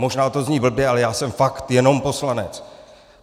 Možná to zní blbě, ale já jsem fakt jenom poslanec.